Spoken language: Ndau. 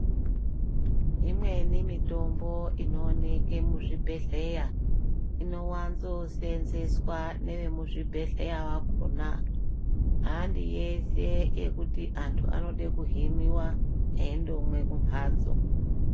Imweni mitombo inooneke muzvibhehleya inowanzo senzeswa neve muzvibhehleya vakona handi yese yekuti vantu vanode kuhiniwa eindomwe kumhatso.